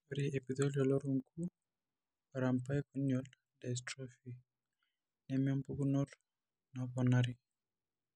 Ore eEpithelial orungu arambai corneal dystrophy nemempukunoto naponari.